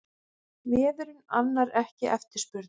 Vefurinn annar ekki eftirspurn